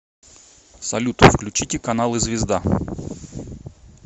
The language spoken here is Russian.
салют включите каналы звезда